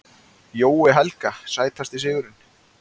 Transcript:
Jói Helga Sætasti sigurinn?